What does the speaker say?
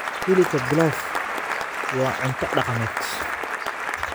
Hilibka pilaf waa cunto dhaqameed.